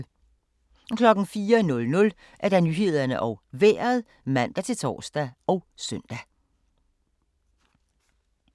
04:00: Nyhederne og Vejret (man-tor og søn)